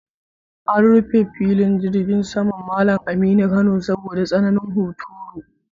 An rufe Filin Jirgin Saman Mallam Aminu Kano saboda tsananin huturu.